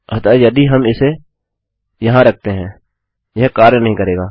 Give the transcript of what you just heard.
अतः यदि हम इसे यहाँ रखते हैं यह कार्य नहीं करेगा